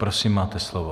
Prosím, máte slovo.